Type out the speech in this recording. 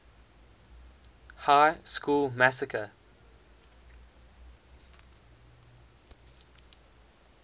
high school massacre